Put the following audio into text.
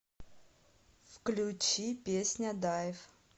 включи песня дайв